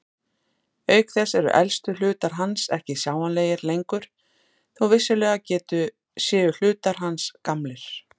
Auk þess eru elstu hlutar hans ekki sjáanlegir lengur þó vissulega séu hlutar hans gamlir.